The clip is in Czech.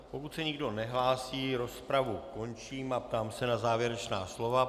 Pokud se nikdo nehlásí, rozpravu končím a ptám se na závěrečná slova.